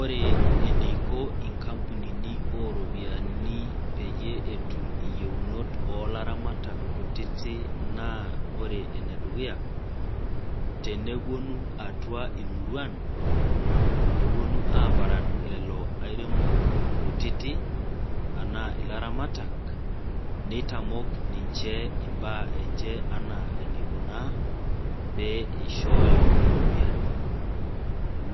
Ore eniko nkampunini oropiyiani peyie etum ayieunot oolaramatak kutitik naa ore enedukuya ,naa teneponu atua imuriuan neponu aparan lelo airemok kutitik anaa laramatak ,neitamok ninche imbaa enche enaa enaikuna peyie eishooyo oripiyiani